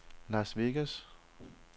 Las Vegas